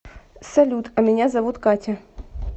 салют а меня зовут катя